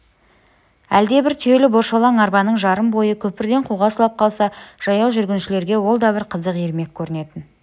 әлдебір түйелі бошалаң арбаның жарым бойы көпірден суға құлап қалса жаяу жүргіншілерге ол да бір қызық ермек көрінетін